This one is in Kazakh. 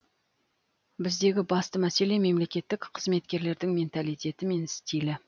біздегі басты мәселе мемлекеттік қызметкерлердің менталитеті мен стилі